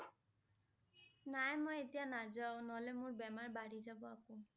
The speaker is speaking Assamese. নাই মই এতিয়া নাযাও নহলে মোৰ বেমাৰ বাঢ়ি যাব আকৌ ।